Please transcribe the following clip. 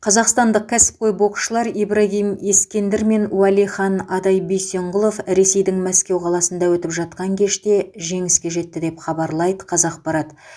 қазақстандық кәсіпқой боксшылар ибрагим ескендір мен уәлихан адай бисенқұлов ресейдің мәскеу қаласында өтіп жатқан кеште жеңіске жетті деп хабарлайды қазақпарат